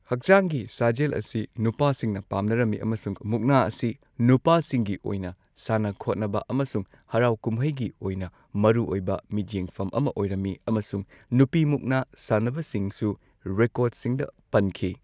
ꯍꯛꯆꯥꯡꯒꯤ ꯁꯥꯖꯦꯜ ꯑꯁꯤ ꯅꯨꯄꯥꯁꯤꯡꯅ ꯄꯥꯝꯅꯔꯝꯃꯤ ꯑꯃꯁꯨꯡ ꯃꯨꯛꯅꯥ ꯑꯁꯤ ꯅꯨꯄꯥꯁꯤꯡꯒꯤ ꯑꯣꯏꯅ ꯁꯥꯟꯅ ꯈꯣꯠꯅꯕ ꯑꯃꯁꯨꯡ ꯍꯔꯥꯎ ꯀꯨꯝꯍꯩꯒꯤ ꯑꯣꯏꯅ ꯃꯔꯨꯑꯣꯏꯕ ꯃꯤꯠꯌꯦꯡꯐꯝ ꯑꯃ ꯑꯣꯏꯔꯝꯃꯤ, ꯑꯃꯁꯨꯡ ꯅꯨꯄꯤ ꯃꯨꯛꯅꯥ ꯁꯥꯟꯅꯕꯁꯤꯡꯁꯨ ꯔꯦꯀꯣꯔꯗꯁꯤꯡꯗ ꯄꯟꯈꯤ꯫